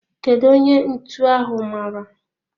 Kedu onye ntụ ahu mara?